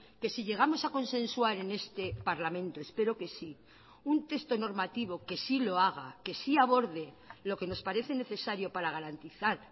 que si llegamos a consensuar en este parlamento espero que sí un texto normativo que sí lo haga que sí aborde lo que nos parece necesario para garantizar